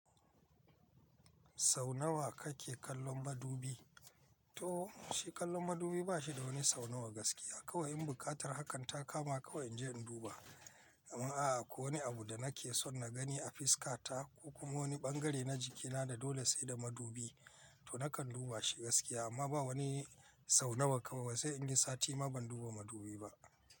Sau nawa kake kallon madubi? To, shi kallon madubi ba shi da wani sau nawa gaskiya. Kawai in buƙatar hakan ta kama kawai in je in duba. Amma a'a, ko wani abu da nake son na gani a fiska ta ko kuma wani ɓangare na jikina da dole sai da madubi, to nakan duba shi gaskiya. Amma ba wani sau nawa kawai, sai inyi sati ma ban duba madubi ba.